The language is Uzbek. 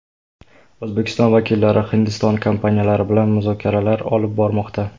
O‘zbekiston vakillari Hindiston kompaniyalari bilan muzokaralar olib bormoqda.